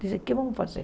Dizem, o que vamos fazer?